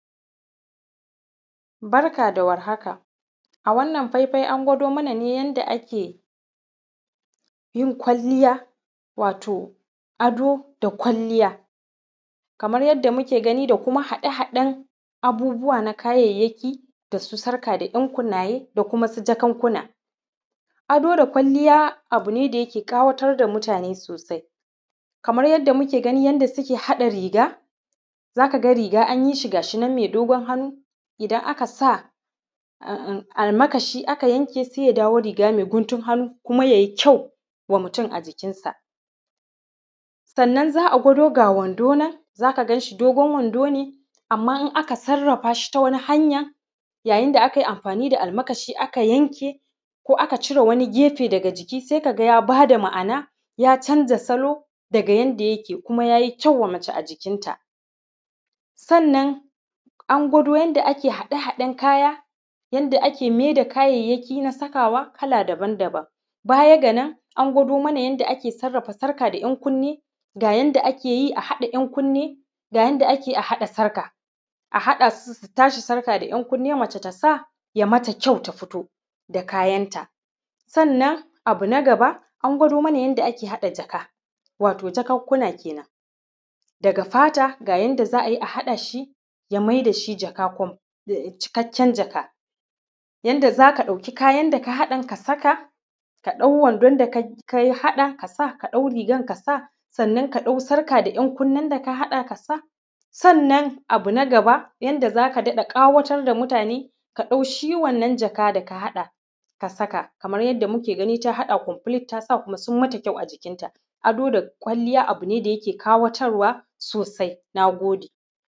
Barka da warhaka a wannan faifai an gwado mana ne yanda ake yin kwalliya wato ado da kwalliya, kamar yadda muke gani da kuma haɗe-haɗen abubbuwa na kayayyaki da su sarka da ɗun kunnaye da kuma su jakunkuna. Ado da kwalliya abu ne da yake ƙawatar da mutane sosai, kamar yadda muke gani yanda suke haɗa riga za ka ga riga an yi shi gashi nan me dogon hannu idan aka sa almakashi aka yanke se ya dawo riga me guntun hannu kuma ya yi kyau wa mutum a jikin sa. Sannan za’a gwado ga wando nan za ka ganshi ga wando nan dogon wando ne amma idan aka sarrafa shi ta wani hanya ya yi da aka yi amfani da shi aka yanke ko aka cire wani gefe daga ciki se ka ga ya ba da ma’ana ya zamo salo daga yanda yake kuma ya yi kyau wa mace a jikin ta. Sannan an gwado yanda kaya da ake mai da kyayyaki na sakawa kala daban-daban baya ga da an gwado mana yanda ake sarrafa sarƙa da ɗankunni ga yanda ake yi a haɗa ɗan kunni ga yanda ake haɗa sarƙa a haɗa su, sarƙa da ɗankunni ta mace ta sa ya yi mata kyau ta fito da kayan ta. Sannan abu na gaba an gwado mana yanda ake haɗa jaka wato jakunkuna kenan daga fata ga yanda za a yi a haɗa shi ya mai da shi jaka to cikakken jaka yanda za ka ɗauki kayan da ka haɗan ka saka ka ɗau wandon da ka haɗa ka sa, ka ɗau rigan ka sa sannan ka ɗau sarƙa da ɗankunnin da ka haɗa ka sa. Sannan abu na gaba yanda zaka daɗe ƙawatar da mutane ka ɗau shi wannan jaka da ka haɗa ka saka kamar yadda muke gani ta haɗa komfilit tasa kuma sun yi mata kyau a jikin ta. Ado da kwalliya abu ne da yake ƙawatar wa sosai. Na gode.